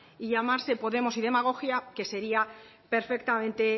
y llamarse podemos y demagogia que sería perfectamente